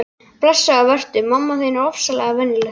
Blessaður vertu, mamma þín er ofsalega venjuleg.